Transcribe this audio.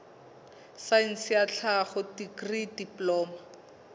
saense ya tlhaho dikri diploma